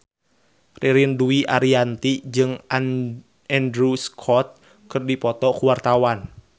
Ririn Dwi Ariyanti jeung Andrew Scott keur dipoto ku wartawan